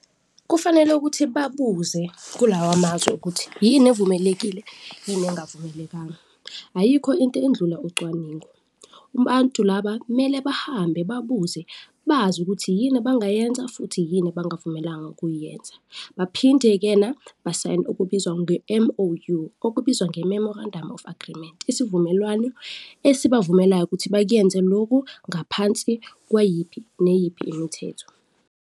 Kufanele ukuthi babuze kulawa mazwi ukuthi yini evumelekile yini engavumelekanga, ayikho into endlula ucwaningo. Ubantu laba mele bahambe babuze bazi ukuthi yini abangayenza futhi yini ebangavumelanga ukuyenza baphinde-kena basayine okubizwa nge-M_O_U, okubizwa nge-Memorandum of Agreement, isivumelwano esibavumelayo ukuthi bakyenze loku, ngaphansi kwayiphi neyiphi imithetho.